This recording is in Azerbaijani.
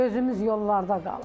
Gözümüz yollarda qalıb.